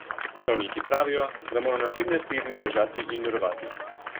Zdravniki pravijo, da moram naslednje tedne ležati in mirovati.